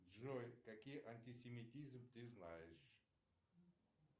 джой какие антисемитизм ты знаешь